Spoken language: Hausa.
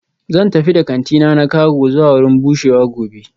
Zan tafi da kantina na cago zuwa wurin bushewa gobe